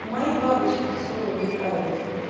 мои бабочки всё летают